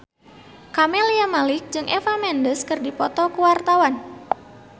Camelia Malik jeung Eva Mendes keur dipoto ku wartawan